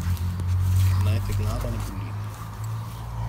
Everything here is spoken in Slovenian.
Naj te glava ne boli.